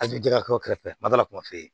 A bɛ jɛgɛ kɛ o kɛrɛfɛ madu na kuma f'e ye